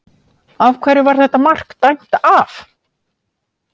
Af hverju var þetta mark dæmt af?